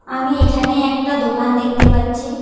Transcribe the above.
আমি এখানে একটা দোকান দেখতে পাচ্ছি।